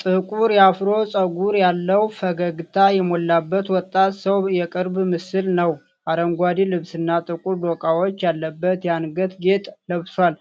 ጥቁር አፍሮ ጸጉር ያለው፣ ፈገግታ የሞላበት ወጣት ሰው የቅርብ ምስል ነው። አረንጓዴ ልብስና ጥቁር ዶቃዎች ያለበት የአንገት ጌጥ ለብሷል።